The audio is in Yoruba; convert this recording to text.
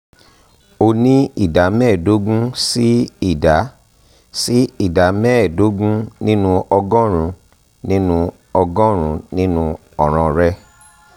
ó ní ìdá mẹ́ẹ̀ẹ̀dógún sí ìdá sí ìdá mẹ́ẹ̀ẹ̀ẹ̀dógún nínú ọgọ́rùn-ún nínú ọgọ́rùn-ún nínú ọ̀ràn rẹ